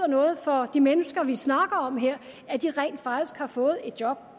noget for de mennesker vi snakker om her at de rent faktisk har fået et job